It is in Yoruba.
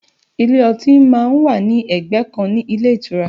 Ilé ọtí má ń wà ní ẹgbẹ́ kan ní ilé ìtura